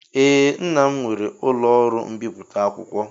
Ee, nnam nwere ụlọ ọrụ mbipụta akwụkwọ